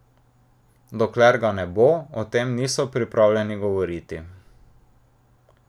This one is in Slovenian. Dokler ga ne bo, o tem niso pripravljeni govoriti.